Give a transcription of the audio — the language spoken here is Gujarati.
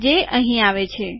જે અહીં આવે છે